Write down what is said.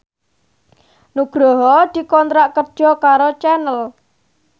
Nugroho dikontrak kerja karo Channel